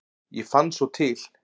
Ég fann svo til.